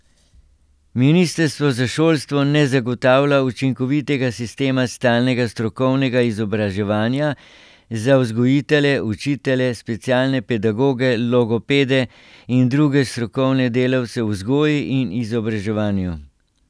Ministrstvo za šolstvo ne zagotavlja učinkovitega sistema stalnega strokovnega izobraževanja za vzgojitelje, učitelje, specialne pedagoge, logopede in druge strokovne delavce v vzgoji in izobraževanju.